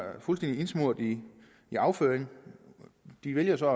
fuldstændig indsmurt i afføring de valgte så at